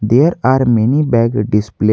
There are many bag display.